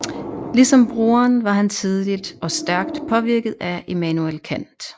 Ligesom broren var han tidligt og stærkt påvirket af Immanuel Kant